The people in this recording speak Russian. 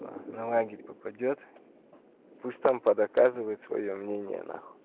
а на лагерь попадёт пусть там по доказывает своё мнение нахуй